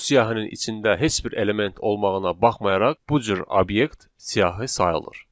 Bu siyahının içində heç bir element olmağına baxmayaraq, bu cür obyekt siyahı sayılır.